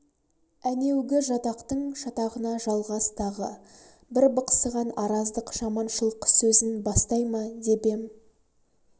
әнеугі жатақтың шатағына жалғас тағы бір бықсыған араздық жаманшылық сөзін бастай ма деп ем